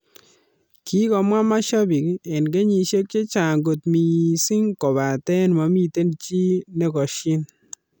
Kikomwa masiapik en kenyisiek chechang kot missing kopaten momiten chi nekosyin.